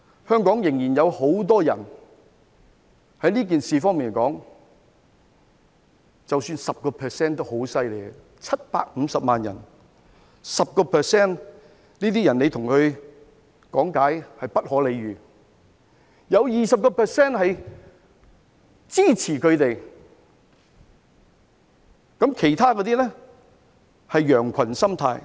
香港仍然有很多這樣的人，即使有 10% 都已很厲害 ，750 萬人的 10%， 這些人你跟他講道理，是不可理喻的；有 20% 是支持他們，其他那些是羊群心態。